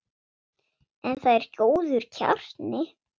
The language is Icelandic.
En það er góður kjarni.